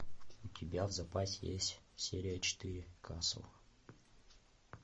у тебя в запасе есть серия четыре касл